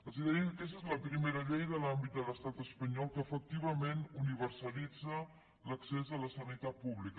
els deia que aquesta és la primera llei de l’àmbit de l’estat espanyol que efectivament universalitza l’accés a la sanitat pública